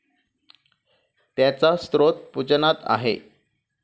त्याचा स्रोत पूजनात आहे.